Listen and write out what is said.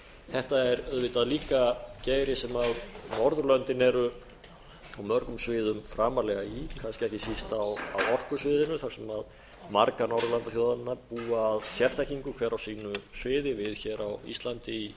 þetta er auðvitað líka geiri sem norðurlöndin eru á mörgum sviðum framarlega í kannski ekki síst á orkusviðinu þar sem margar norðurlandaþjóðanna búa að sérþekkingu hver á sínu sviði við hér á íslandi í